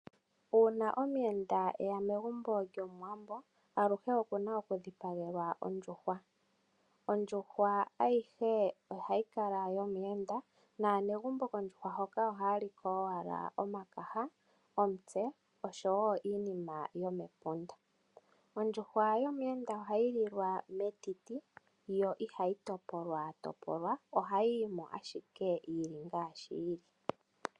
Uuna omuyenda eya megumbo lyomuwambo aluhe oku na okudhipagelwa ondjuhwa. Ondjuhwa ayihe ohayi kala yomuyenda. Aanegumbo kondjuhwa ohaya liko owala omakaha ,omutse nosho woo iinima yomepunda. Ohayi lilwa metiti yo ihayi topolwa ohayi yimo owala ngaashi yili.